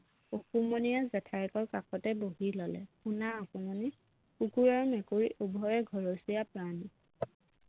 অকমানিয়ে জেঠায়েকৰ কাষতে বহি ললে শুনা অকমানি কুকুৰ আৰু মেকুৰী উভয়ে ঘৰচীয়া প্ৰাণী